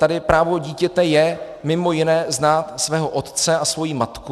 Tady právo dítěte je mimo jiné znát svého otce a svoji matku.